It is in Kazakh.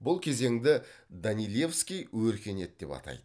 бұл кезеңді данилевский өркениет деп атайды